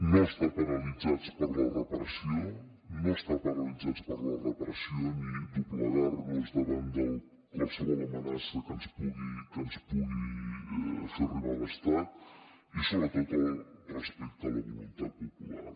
no estar paralitzats per la repressió no està paralitzats per la repressió ni doblegar nos davant de qualsevol amenaça que ens pugui fer arribar l’estat i sobretot el respecte a la voluntat popular